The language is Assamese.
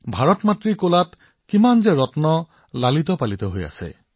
ভাৰত মাৰ কোলাত কেনেধৰণৰ ৰত্ন আছে